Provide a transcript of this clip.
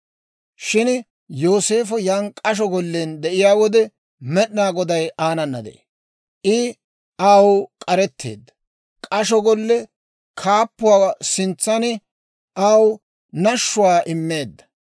Shin Yooseefo yan k'asho gollen de'iyaa wode, Med'inaa Goday aanana de'ee. I aw k'aretteedda; k'asho golle kaappuwaa sintsan aw nashshuwaa immeedda.